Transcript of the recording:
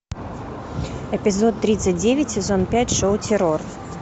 эпизод тридцать девять сезон пять шоу террор